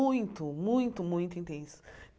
Muito, muito muito intensas.